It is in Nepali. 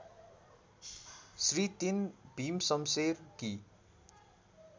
श्री ३ भीमशमशेरकी